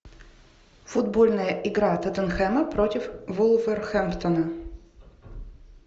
футбольная игра тоттенхэма против вулверхэмптона